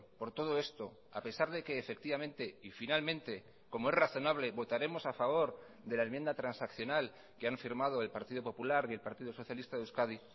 por todo esto a pesar de que efectivamente y finalmente como es razonable votaremos a favor de la enmienda transaccional que han firmado el partido popular y el partido socialista de euskadi